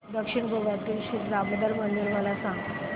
दक्षिण गोव्यातील श्री दामोदर मंदिर मला सांग